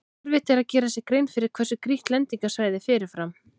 Erfitt er að gera sér grein fyrir hversu grýtt lendingarsvæðið er fyrirfram.